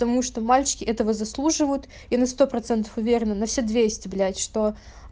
потому что мальчики этого заслуживают и на сто процентов уверена на все двести блять что